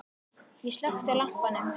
Ég slökkti á lampanum.